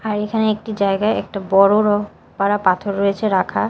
আর এইখানে একটি জায়গায় একটা বড় রহ্ পারা পাথর রয়েছে রাখা।